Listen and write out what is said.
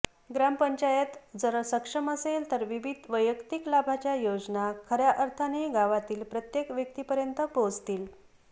ग्रामपंचायात जर सक्षम असेल तर विविध वैयक्तीक लाभाच्या योजना खऱ्या अर्थाने गावातील प्रत्येक व्यक्तीपर्यंत पोहचतील